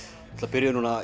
byrjuðum